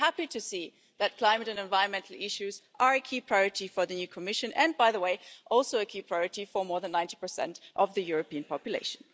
We're happy to see that climate and environmental issues are a key priority for the new Commission and, by the way, also a key priority for more than 90 of the European population.